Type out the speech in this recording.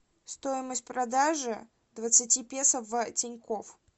стоимость продажи двадцати песо в тинькофф